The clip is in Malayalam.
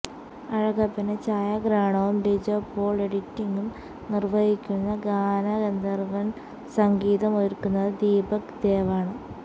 അഴകപ്പന് ഛായാഗ്രഹണവും ലിജോ പോള് എഡിറ്റിംഗും നിര്വഹിക്കുന്ന ഗാനഗന്ധര്വ്വന് സംഗീതമൊരുക്കുന്നത് ദീപക് ദേവാണ്